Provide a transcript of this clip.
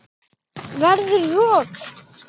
Verður rok.